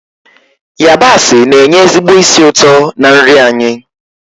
yabasị na-enye ezigbo ísì ụtọ na nri anyị